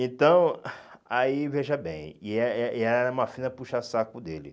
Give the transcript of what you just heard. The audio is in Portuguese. Então, aí veja bem, e eh e ela era uma fina puxa-saco dele.